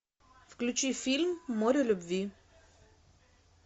включи фильм море любви